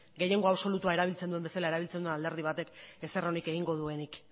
gehiengo absolutua erabiltzen duen bezala erabiltzen duen alderdi batek ezer onik egingo duenik